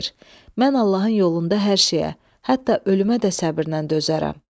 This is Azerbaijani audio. Mən Allahın yolunda hər şeyə, hətta ölümə də səbrlə dözərəm."